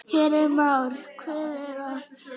Heimir Már: Hver er það?